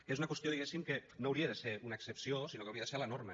que és una qüestió diguéssim que no hauria de ser una excepció sinó que hauria de ser la norma